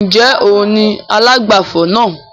Ń jẹ́ òun ni alágbàfọ̀ náà?